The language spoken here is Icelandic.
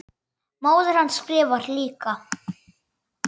Móðir hans skrifar líka.